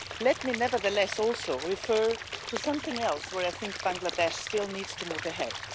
Let me nevertheless also refer to something else where I think Bangladesh still needs to move ahead.